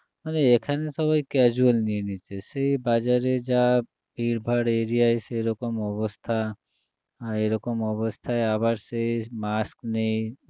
আরে এখানে সবাই casual নিয়ে নিচ্ছে সে বাজারে যা ভিড়ভাড় area য় সেরকম অবস্থা আহ এরকম অবস্থায় আবার সেই mask নেই